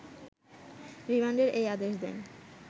রিমান্ডের এ আদেশ দেন